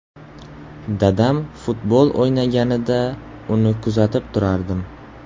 Dadam futbol o‘ynaganida, uni kuzatib turardim.